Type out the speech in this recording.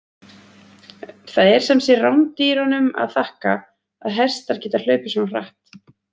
Það er sem sé rándýrunum að þakka að hestar geta hlaupið svona hratt!